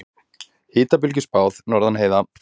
Hitabylgju spáð norðan heiða